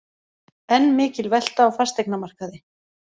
Enn mikil velta á fasteignamarkaði